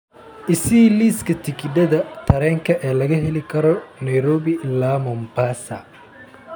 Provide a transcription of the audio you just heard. i sii liiska tigidhada tareenka ee laga heli karo nairobi ilaa mombasa